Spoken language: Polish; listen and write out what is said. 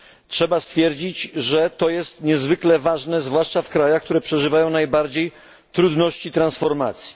Trzeba stwierdzić, że to jest niezwykle ważne, zwłaszcza w krajach, które przeżywają najbardziej trudności transformacji.